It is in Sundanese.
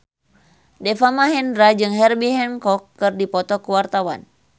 Deva Mahendra jeung Herbie Hancock keur dipoto ku wartawan